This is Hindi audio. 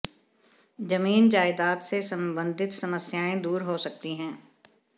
जमीन जायदाद से संबंधित समस्याएं दूर हो सकती हैं